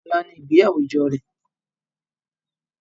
Ọla ni ìgbéyàwó ìjọ rẹ